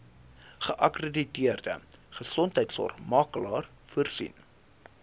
geakkrediteerde gesondheidsorgmakelaar voorsien